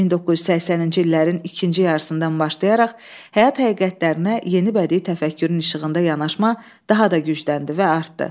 1980-ci illərin ikinci yarısından başlayaraq həyat həqiqətlərinə yeni bədii təfəkkürün işığında yanaşma daha da gücləndi və artdı.